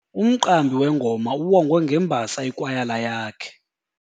Umqambi wengoma uwongwe ngembasa yikwayala yakhe.